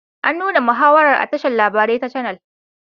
An nuna muhawarar a tashar labarai ta canal